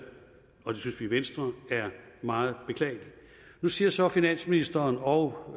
og det synes vi i venstre er meget beklageligt nu siger så finansministeren og